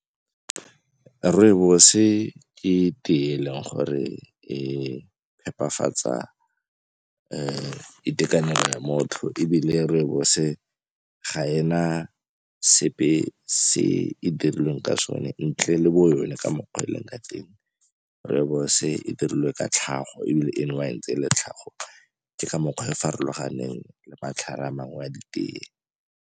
Rooibos-e ke tee e e leng gore e phepafatsa itekanelo ya motho ebile rooibos-e ga e na sepe e se e dirilweng ka sone ntle le bo yone ka mokgwa o e leng ka teng. Rooibos-e e dirilwe ka tlhago ebile e nowa ntse e le tlhago, ke ka mokgwa e farologaneng le matlhare a mangwe a ditee.